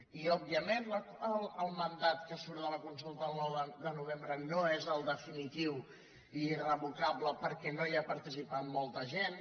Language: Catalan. i òbvia·ment que el mandat que surt de la consulta el nou de novembre no és el definitiu i irrevocable perquè no hi ha participat molta gent